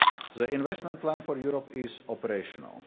The Investment Plan for Europe is operational.